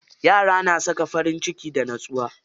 Yara na saka farinciki da nutsuwa.